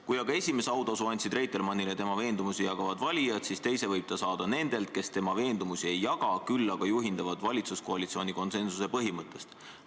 Kui aga esimese autasu andsid Reitelmannile tema veendumusi jagavad valijad, siis teise võib ta saada nendelt, kes tema veendumusi ei jaga, küll aga juhinduvad valitsuskoalitsiooni konsensuse põhimõttest.